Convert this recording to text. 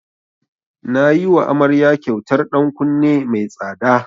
Na yiwa amaryar kyautar ɗan kunne mai tsada.